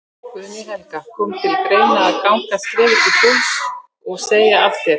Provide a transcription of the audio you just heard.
Guðný Helga: Kom til greina að ganga skrefið til fulls og, og segja af þér?